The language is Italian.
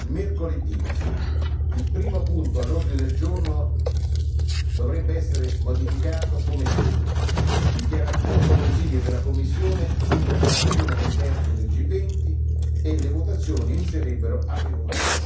Mercoledì il primo punto all'ordine del giorno dovrebbe essere modificato come segue Dichiarazioni del Consiglio e della Commissione sulla preparazione del vertice del G20 e le votazioni inizierebbero alle ore